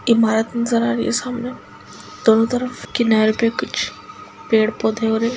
इमारत नजर आ रही है सामने दोनों तरफ किनारे पे कुछ पेड़ पौधे और ये--